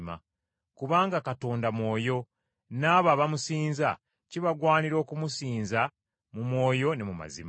Kubanga Katonda Mwoyo n’abo abamusinza kibagwanira okumusinza mu mwoyo ne mu mazima.”